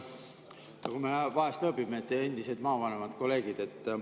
Nagu me vahest lõõbime, et endised maavanemad, kolleegid.